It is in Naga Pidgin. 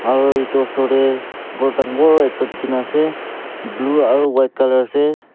aru etu osor te gour dagur ekta Delhi kina ase blue aru white colour ase.